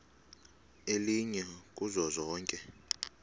elinye kuzo zonke